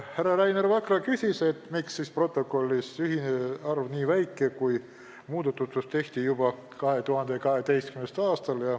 Härra Rainer Vakra küsis, miks siis protokolliga ühinejate arv nii väike on, kui muudatused tehti juba 2012. aastal.